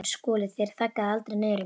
SKÚLI: Þér þaggið aldrei niður í mér.